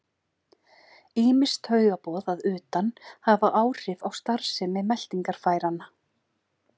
Ýmis taugaboð að utan hafa áhrif á starfsemi meltingarfæranna.